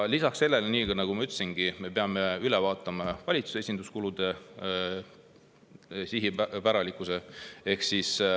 Lisaks sellele, nii nagu ma ütlesin, me peame üle vaatama valitsuse esinduskulude sihipärasuse.